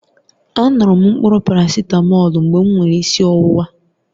A ṅụrụ m mkpụrụ parasitamọlu mgbe m nwere isi ọwụwa